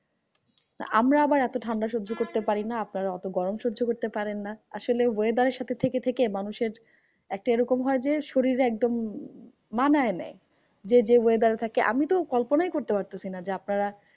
তা আমরা আবার এত ঠান্ডা সহ্য করতে পারিনা, আপনারা অত গরম সহ্য করতে পারেন না। আসলে weather এর সাথে থেকে থেকে মানুষের একটা এরকম হয় যে, শরীরে একদম মানায় নেই যে যে weather এ থাকে। আমি তো কল্পনাই করতে পারতেসি না যে আপনারা